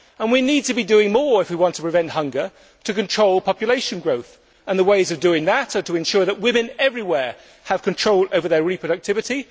We need to be doing more if we want to prevent hunger and control population growth, and the way of doing that is to ensure that women everywhere have control over their reproductivity.